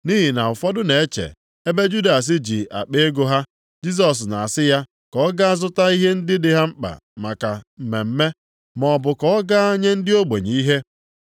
Nʼihi na ụfọdụ na-eche, ebe Judas ji akpa ego ha, Jisọs na-asị ya ka ọ gaa zụta ihe ndị dị mkpa maka mmemme, maọbụ ka ọ gaa nye ndị ogbenye ihe.